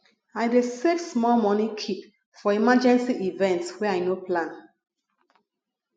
i dey save small moni keep for emergency events wey i no plan